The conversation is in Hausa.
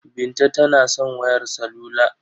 Binta tana son wayar salula.